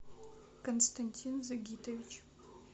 константин загитович